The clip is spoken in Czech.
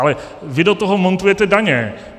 Ale vy do toho montujete daně.